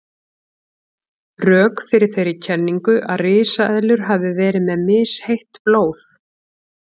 Rök fyrir þeirri kenningu að risaeðlur hafi verið með misheitt blóð.